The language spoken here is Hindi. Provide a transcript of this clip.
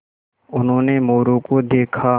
उन्होंने मोरू को देखा